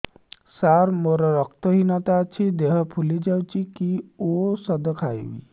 ସାର ମୋର ରକ୍ତ ହିନତା ଅଛି ଦେହ ଫୁଲି ଯାଉଛି କି ଓଷଦ ଖାଇବି